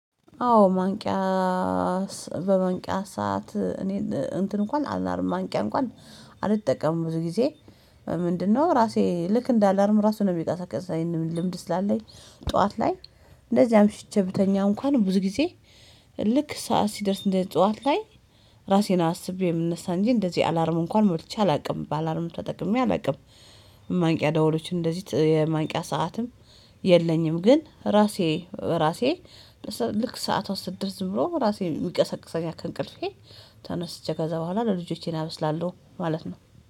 አዎ ማንቂያ በመንቂያ ሰዓት እኔ እንትን እንኳን አላርም ማንቂያ እንኳን አልጠቀምም ብዙ ጊዜ። ምንድነው ራሴ ልክ እንደ አላርም ራሱ ነው የሚቀሰቅሰኝ ይሄንን ልምድ ስላለኝ። ጠዋት ላይ እንደዚያም አምሽቼ ብተኛ እንኳን ብዙ ጊዜ ልክ ሰዓት ሲደርስ እንደ ጠዋት ላይ ራሴን አስቤ የምነሳ እንጂ እንደዚህ አላርም እንኳን ሞልቼ አላውቅም በአላርም ተጠቅሜ አላውቅም። ማንቂያ ደወሎች እንደዚህ ማንቂያ ሰዓትም የለኝም። ግን ራሴ ራሴ ልክ ሰዓት ስድርስ ብሎ ራሴን ይቀሰቅሰኛል አክንቅልፌ ተነስቼ ከዛ በኋላ ለልጆቼን አበስላለሁ ማለት ነው